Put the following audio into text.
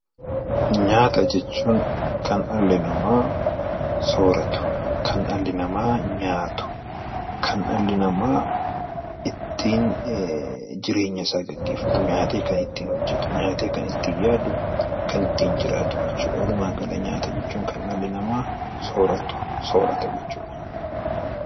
Nyaata jechuun kan dhalli namaa sooratu kan dhalli namaa jireenya isaa ittiin gaggeeffatu nyaatee kan ittiin yaadu kan ittiin jiraatu jechuudha walumaa gala nyaata jechuun kan dhalli namaa nyaatu jechuudha